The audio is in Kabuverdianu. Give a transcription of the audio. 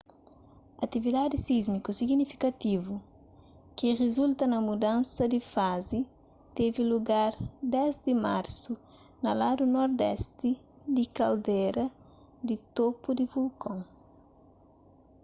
atividadi sísmiku signifikativu ki rizulta na mudansa di fazi tevi lugar 10 di marsu na ladu nordesti di kaldera di topu di vulkon